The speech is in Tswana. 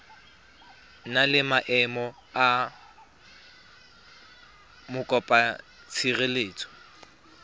na le maemo a mokopatshireletso